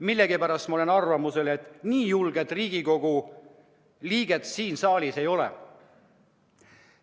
Millegipärast ma olen arvamusel, et nii julget Riigikogu liiget siin saalis ei ole.